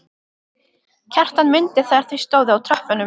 Kjartan mundi þegar þau stóðu á tröppunum.